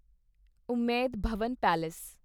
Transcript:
Umaid Bhawan palace